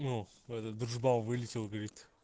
ну этот дружбан вылетел говорит